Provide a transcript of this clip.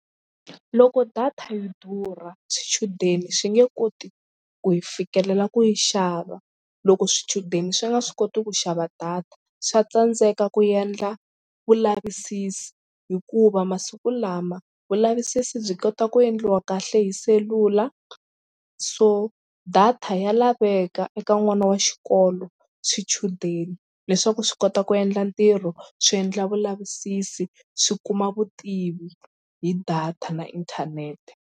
Loko data yi durha swichudeni swi nge koti ku yi fikelela ku yi xava. Loko swichudeni swi nga swi koti ku xava data swa tsandzeka ku endla vulavisisi hikuva masiku lama vulavisisi byi kota ku endliwa kahle hi selula so data ya laveka eka n'wana wa xikolo swichudeni leswaku swi kota ku endla ntirho swi endla vulavisisi swi kuma vutivi hi data na inthanete.